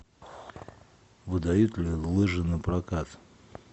выдают ли лыжи на прокат